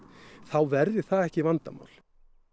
þá verði það ekki vandamál